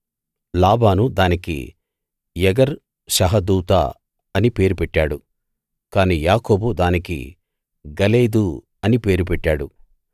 లాబాను దానికి యగర్‌ శహదూతా అని పేరు పెట్టాడు కానీ యాకోబు దానికి గలేదు అని పేరు పెట్టాడు